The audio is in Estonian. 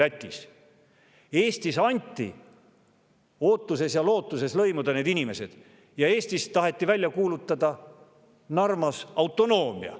Eestis anti, ootuses ja lootuses need inimesed lõimida, aga Eestis Narvas taheti välja kuulutada autonoomia.